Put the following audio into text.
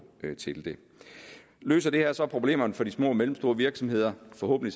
til det løser det her så problemerne for de små og mellemstore virksomheder forhåbentlig